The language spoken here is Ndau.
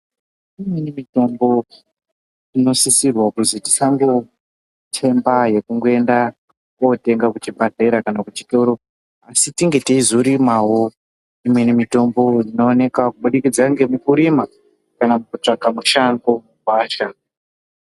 Imweni mitombo inosisirwa kuzi tisangotenga yekungoinda kootenga kuzvibhadhlera kana kuchitoro. Asi tinge teizorumawo imqeni mitombo inooneka kubudikidza ngemukurima kana kutsvaka kushango, kugwasha.